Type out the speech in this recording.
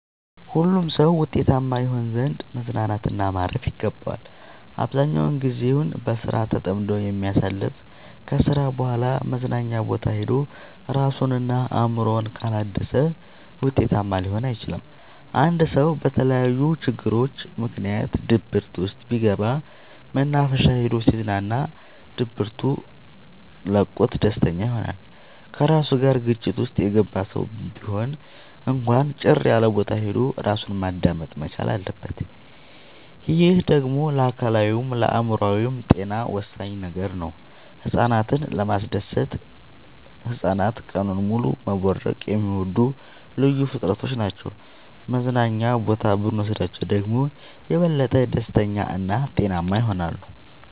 ሁሉም ሰው ውጤታማ ይሆን ዘንድ መዝናናት እና ማረፍ ይገባዋል። አብዛኛውን ግዜውን በስራ ተጠምዶ የሚያሳልፍ ከስራ በኋላ መዝናኛ ቦታ ሄዶ እራሱን እና አእምሮውን ካላደሰ ውጤታማ ሊሆን አይችልም። አንድ ሰው በተለያዩ ችግሮች ምክንያት ድብርት ውስጥ ቢገባ መናፈሻ ሄዶ ሲዝናና ድብቱ ለቆት ደስተኛ ይሆናል። ከራሱ ጋር ግጭት ውስጥ የገባ ሰው ቢሆን እንኳን ጭር ያለቦታ ሄዶ እራሱን ማዳመጥ መቻል አለበት። ይህ ደግሞ ለአካላዊይም ለአእምሮአዊም ጤና ወሳኝ ነገር ነው። ህፃናትን ለማስደሰት ህፃናት ቀኑን ሙሉ መቦረቅ የሚወዱ ልዩ ፍጥረቶች ናቸው መዝናና ቦታ ብኖስዳቸው ደግሞ የበለጠ ደስተኛ እና ጤናማ ይሆናሉ።